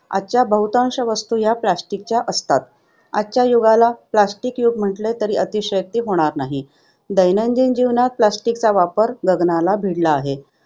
आजच्या बहुतांश वस्तू या plastic च्या आहेत. आजच्या युगाला plastic युग म्हटल्यास अतिशयोक्ती नाही. दैनंदिन जीवनात plastic वापर गगनाला भिडला आहे.